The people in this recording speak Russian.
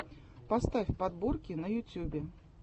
поставь подборки на ютьюбе